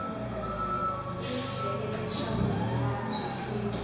wi byele leswaku vuvabyi lebyi